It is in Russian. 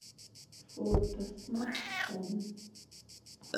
фото смартфон